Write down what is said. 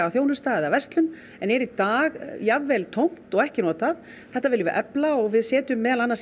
þjónusta eða verslun en er í dag jafnvel tómt og ekki notað þetta viljum við efla og við setjum meðal annars